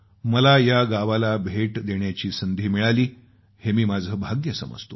मला या गावाला भेट देण्याची संधी मिळाली हे मी माझं भाग्य मानतो